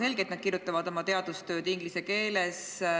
Selge, et nad kirjutavad oma teadustööd inglise keeles.